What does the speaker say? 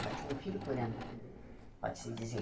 Ela tinha um filho por ano, pode-se dizer.